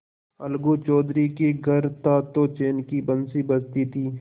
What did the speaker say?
अलगू चौधरी के घर था तो चैन की बंशी बजती थी